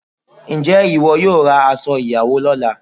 Ǹjẹ́ ìwọ yóò ra aṣo ìyàwó lọ́la?